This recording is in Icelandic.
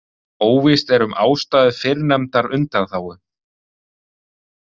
Óvíst er um ástæðu fyrrnefndrar undanþágu.